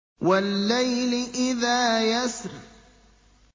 وَاللَّيْلِ إِذَا يَسْرِ